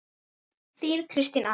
Þín, Kristín Anna.